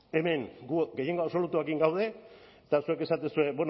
hemen gu gehiengo absolutuarekin gaude eta zuek esaten duzue